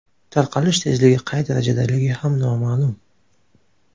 Tarqalish tezligi qay darajadaligi ham noma’lum.